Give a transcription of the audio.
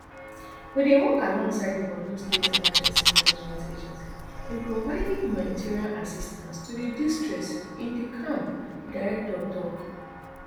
we dey work alongside di borno state emergency management agency in providing humanitarian assistance to di distressed in di camp di director tok